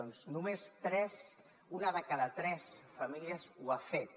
doncs només una de cada tres famílies ho ha fet